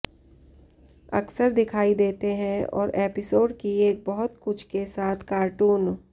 अक्सर दिखाई देते हैं और एपिसोड की एक बहुत कुछ के साथ कार्टून